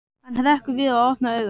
Hann hrekkur við og opnar augun.